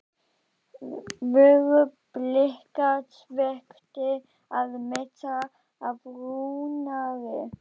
Voru Blikar svekktir að missa af Rúnari?